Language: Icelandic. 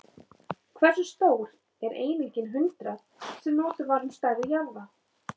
Hversu stór er einingin hundrað, sem notuð var um stærð jarða?